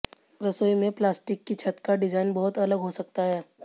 रसोई में प्लास्टिक की छत का डिजाइन बहुत अलग हो सकता है